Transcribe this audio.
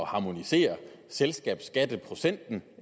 harmonisere selskabsskatteprocenten